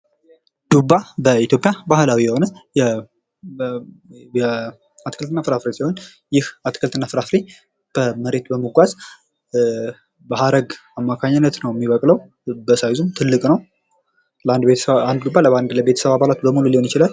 ዱባ በኢትዮጵያ ባህላዊ የሆነ አትክልትና ፍራፍሬ ሲሆን ይህ አትክልትና ፍራፍሬ በመሬት በመጓዝ በሀረግ አማካኝነት ነዉ የሚበቅለዉ በሳይዙም ትልቅ ነዉ። አንድ ዱባ ለቤተሰብ አባላት ሊሆን ይችላል።